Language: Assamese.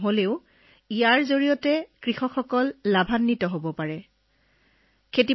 এনে অৱস্থাত ড্ৰোনখন পথাৰত উৰুৱাই বাহিৰৰ পৰা সকলো চাব পাৰি আৰু খেতিয়কজনে পথাৰৰ মাজলৈও যাব নালাগে